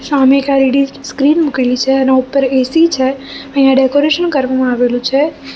શામે એક LED screen મૂકેલી છે એના ઉપર એ_સી છે અહીંયા ડેકોરેશન કરવામાં આવેલું છે.